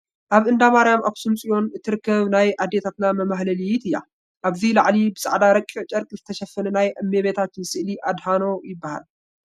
ኣብ እንዳ ማሪያም ኣኽሱም ፅዮን እትርከብ ናይ ኣዴታትና መማሕለሊት እያ ፡ ኣብቲ ላዕሊ ብፃዕዳ ረቒቕ ጨርቒ ዝተሸፈነ ናይ እመቤታችን ስእሊ ኣድህኖ ይበሃል ።